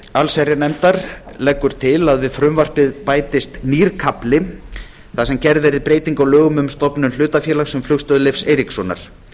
allsherjarnefndar leggur til að við frumvarpið bætist nýr kafli þar sem gerð verði breyting á lögum um stofnun hlutafélags um flugstöð leifs eiríkssonar